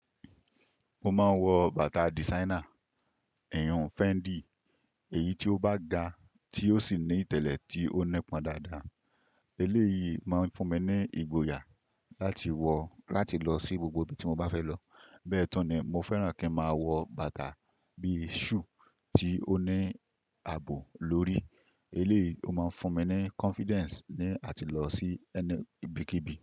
Mo máa ń wọ bàtà designer, ẹ̀hún Fendi, èyí tí ó bá gba tí ó sì ní ìtẹ̀lẹ̀ tí ó nípọn dáadáa. Eléyìí máa ń fún mi ní ìgboyà láti wọ̀ láti lọ sí gbogbo ibi tí mo bá fẹ́ lọ. Bẹ́ẹ̀ túní, mo fẹ́ràn kí n máa wọ bàtà bí shoe tí ó ní ààbò lórí. Eléyìí ó máa ń fún mi ní confidence ní àti lọ sí ẹni ibíkíbi.